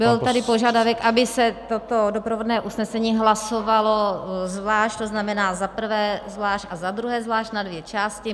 Byl tady požadavek, aby se toto doprovodné usnesení hlasovalo zvlášť, to znamená, za prvé zvlášť a za druhé zvlášť, na dvě části.